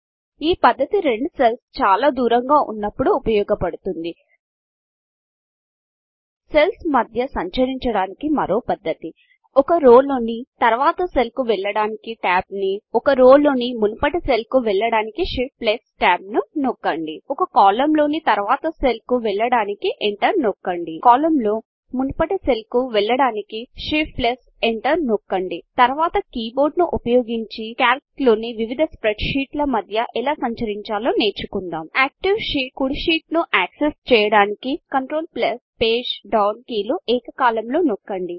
ఈ పద్ధతి రెండు సెల్స్ చాలా దూరంగా ఉన్నపుడు ఉపయోగపడుతుంది సెల్ల్స్ మధ్య సంచరించడానికి మరో పద్ధతి ఒక రో లోని తరువాతి సెల్ వెళ్ళడానికి Tab ఒక రో లోని మునుపటి సెల్ కు వెళ్ళడానికి Shift Tab నొక్కండి ఒక కాలంలోని తరువాతి సెల్కు వెళ్ళుటకు Enter నొక్కండి కాలంలో మునుపటి సెల్కు వెళ్ళుటకు Shift Enter నొక్కండి తరువాత కీబోర్డును ఉపయోగించి కాల్క్ లోని వివిధ స్ప్రెడ్షీట్ల మధ్య ఎలా సంచరించాలో నేర్చుకుందాం సక్రియ షీట్ కుడి షీట్ను ను యాక్సెస్ చేయడానికి CTRL PGDN control plus page down కీలు ఏకకాలంలో నొక్కండి